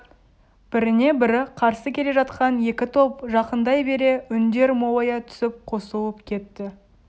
біріне-бірі қарсы келе жатқан екі топ жақындай бере үндер молая түсіп қосылып кетті